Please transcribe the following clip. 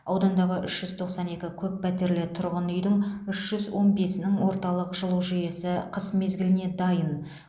аудандағы үш жүз тоқсан екі көппәтерлі тұрғын үйдің үш жүз он бесінің орталық жылу жүйесі қыс мезгіліне дайын